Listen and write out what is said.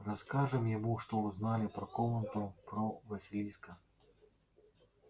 расскажем ему что узнали про комнату про василиска